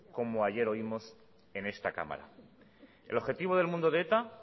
como ayer oímos en esta cámara el objetivo del mundo de eta